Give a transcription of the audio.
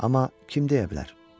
Amma kim deyə bilər?